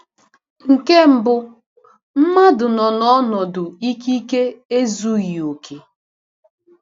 Nke mbụ, mmadụ nọ n’ọnọdụ ikike ezughị okè.